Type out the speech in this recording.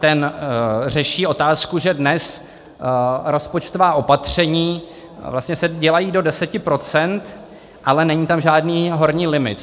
Ten řeší otázku, že dnes rozpočtová opatření vlastně se dělají do deseti procent, ale není tam žádný horní limit.